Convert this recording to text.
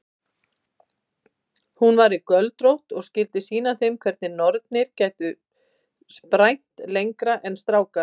Ég vil ekki hafa orð á því hvað mér finnst hólarnir hér lágir og yfirlætislausir.